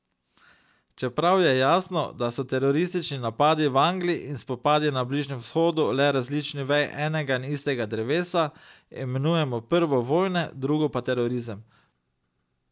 Čeprav je jasno, da so teroristični napadi v Angliji in spopadi na Bližnjem vzhodu le različni veji enega in istega drevesa, imenujemo prvo vojne, drugo pa terorizem.